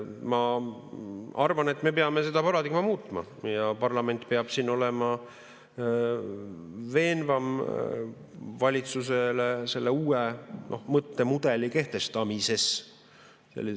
Ma arvan, et me peame seda paradigmat muutma ja parlament peab siin olema veenvam valitsusele selle uue mõttemudeli kehtestamises.